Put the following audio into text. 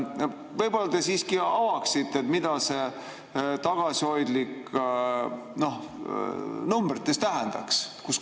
Võib-olla te siiski avaksite, mida see "tagasihoidlik" numbrites tähendab?